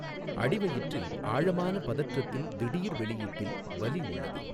அடிவயிற்றில் ஆழமான பதற்றத்தின் திடீர் வெளியீட்டில் வலி உள்ளது.